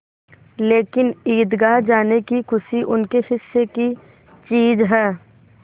लेकिन ईदगाह जाने की खुशी उनके हिस्से की चीज़ है